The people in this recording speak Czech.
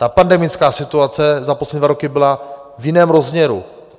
Ta pandemická situace za poslední dva roky byla v jiném rozměru.